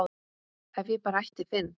ef ég bara ætti Finn